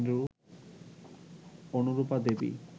Anurupa Devi